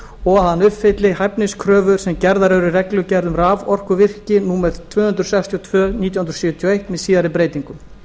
og að hann uppfylli hæfniskröfur sem gerðar eru í reglugerð um raforkuvirki númer tvö hundruð sextíu og fjögur nítján hundruð sjötíu og eitt með síðari breytingum